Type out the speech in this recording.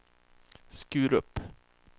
Skurup